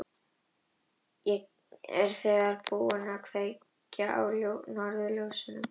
Ég er þegar búinn að kveikja á norðurljósunum og nú færi ég þér tungl.